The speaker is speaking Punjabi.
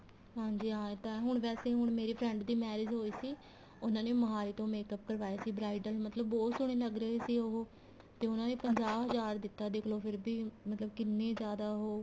ਹਾਂਜੀ ਹਾਂ ਇਹ ਤਾਂ ਹੁਣ ਵੈਸੇ ਹੁਣ ਮੇਰੀ friend ਦੀ marriage ਹੋਈ ਸੀ ਉਹਨਾ ਨੇ ਮੋਹਾਲੀ ਤੋਂ makeup ਕਰਵਾਇਆ ਸੀ bridal ਮਤਲਬ ਬਹੁਤ ਸੋਹਣੇ ਲੱਗ ਰਹੇ ਸੀ ਉਹ ਤੇ ਉਹਨਾ ਨੇ ਪੰਜਾਹ ਹਜ਼ਾਰ ਦਿੱਤਾ ਦੇਖਲੋ ਫ਼ਿਰ ਵੀ ਮਤਲਬ ਕਿੰਨੇ ਜਿਆਦਾ ਉਹ